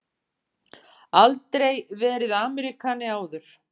Aldrei verið Ameríkani áður.